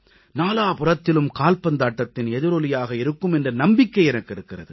நாலாபுறத்திலும் கால்பந்தாட்டத்தின் எதிரொலியாக இருக்கும் என்ற நம்பிக்கை எனக்கு இருக்கிறது